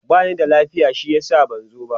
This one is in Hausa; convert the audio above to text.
bani da lafiya shi yasa ban zo ba